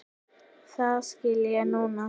Það skil ég núna.